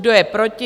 Kdo je proti?